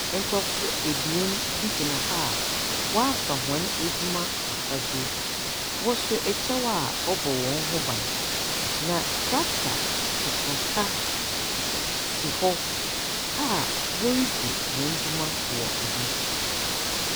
Nkorɔfo ebien bi gyina hɔ a wɔafa hɔn edwuma afadze. Wɔhyɛ ɛkyɛw a ɔbɔ hɔn ho ban, na trctor kakraka si hɔ a woridzi hɔn dwuma wɔ ho.